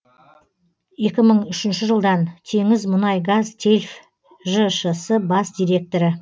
екі мың үшінші жылдан теңізмұнайгазтельф жшс бас директоры